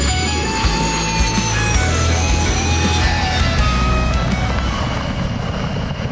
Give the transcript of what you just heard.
Və bu boşluq qiyamətə qədər dolmur.